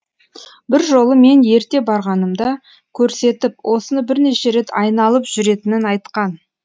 бір жолы мен ерте барғанымда көрсетіп осыны бірнеше рет айналып жүретінін айтқан